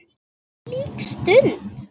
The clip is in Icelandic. Þvílík stund!